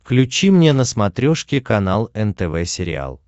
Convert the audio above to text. включи мне на смотрешке канал нтв сериал